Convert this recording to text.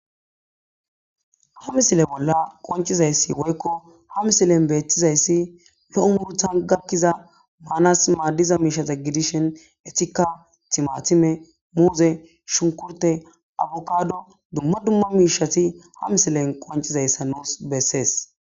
ha misile bolla qoncizayssi woykko ha misilen beettizayssi lo'o murtan gakkiza maanas maaddiza miishata gidishen etika timatime muuze shunkurte abukado dumma dumma miishati ha misilen qoncizayssa noes bessees